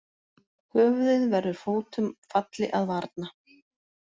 Höfuðið verður fótum falli að varna.